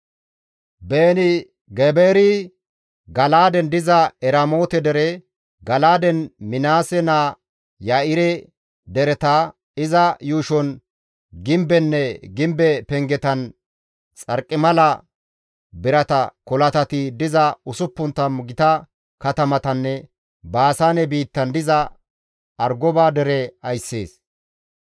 Beeni-Gebeeri Gala7aaden diza Eramoote dere, Gala7aaden Minaase naa Ya7ire dereta, iza yuushon gimbenne gimbe pengetan xarqimala birata kolatati diza 60 gita katamatanne Baasaane biittan diza Argoba dere ayssees.